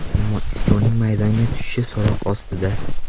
Ammo Iskoning maydonga tushishi so‘roq ostida.